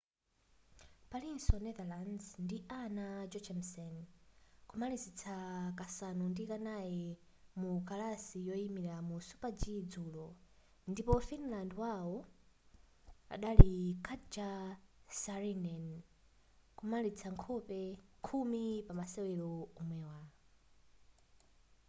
palinso netherlands ndi anna jochemsen kumalizitsa kasanu ndi kanayi mu kalasi yoyimilira mu super-g dzulo ndipo finland wawo adali katja saarinen kumalizitsa khumi pa masewera omwewa